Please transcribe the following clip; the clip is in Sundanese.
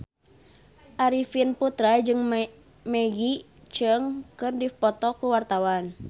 Arifin Putra jeung Maggie Cheung keur dipoto ku wartawan